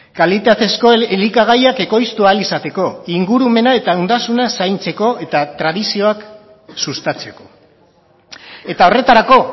kalitatezko elikagaiak ekoiztu ahal izateko ingurumena eta ondasuna zaintzeko eta tradizioak sustatzeko eta horretarako